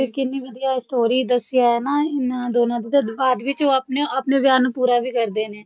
ਕਿੰਨੀ ਵਧੀਆ ਏ story ਦੱਸਿਆ ਹਨਾਂ ਇਹਨਾਂ ਦੋਨਾਂ ਦੀ ਪਾਰਟ ਵਿੱਚ ਉਹ ਆਪਣੇ ਆਪਣੇ ਵਿਆਹ ਨੂੰ ਪੂਰਾ ਵੀ ਕਰਦੇ ਨੇ